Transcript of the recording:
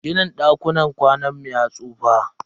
Ginin dakunan kwanan mu ya tsufa.